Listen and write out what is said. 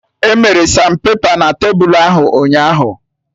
Emere sanpepa na tebulu ahụ ụnyaahụ